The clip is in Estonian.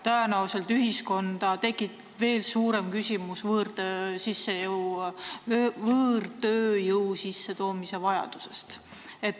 Tõenäoliselt tekib ühiskonnas veel suuremalt võõrtööjõu sissetoomise vajaduse küsimus.